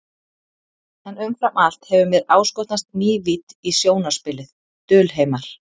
En umfram allt hefur mér áskotnast ný vídd í sjónarspilið, dulheimar.